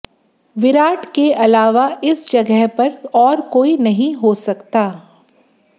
विराट के अलावा इस जगह पर और कोई नहीं हो सकता